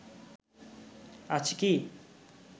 আছে কি